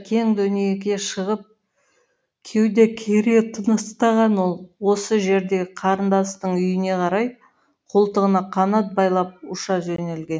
қарадөңнің онда шаруасы қанша кең дүниеге шығып кеуде кере тыныстаған ол осы жердегі қарындасының үйіне қарай қолтығына қанат байлап ұша жөнелген